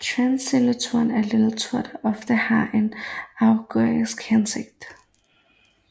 Tendenslitteratur er litteratur der oftest har en agitorisk hensigt